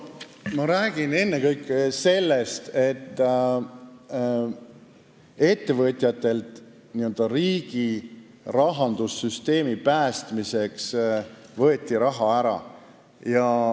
Ma räägin ennekõike sellest, et ettevõtjatelt võeti riigi rahandussüsteemi päästmiseks raha ära.